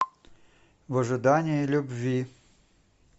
в ожидании любви